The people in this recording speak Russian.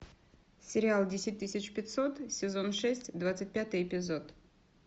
сериал десять тысяч пятьсот сезон шесть двадцать пятый эпизод